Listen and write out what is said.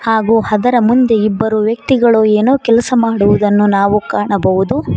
ಹಾಗೂ ಅದರ ಮುಂದೆ ಇಬ್ಬರು ವ್ಯಕ್ತಿಗಳು ಏನೋ ಕೆಲಸ ಮಾಡುವುದನ್ನು ನಾವು ಕಾಣಬಹುದು.